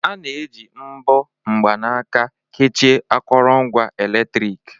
A na-eji mbọ mgbanaka kechie akụrụngwa eletrik.